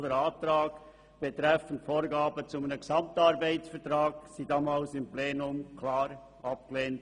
Der Antrag betreffend Vorgaben zu einem Gesamtarbeitsvertrag wurde ebenfalls nicht gutgeheissen.